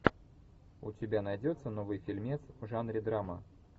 у тебя найдется новый фильмец в жанре драма